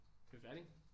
Er vi færdige?